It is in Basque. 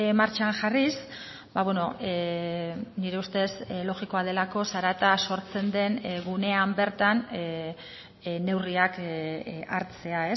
martxan jarriz nire ustez logikoa delako zarata sortzen den gunean bertan neurriak hartzea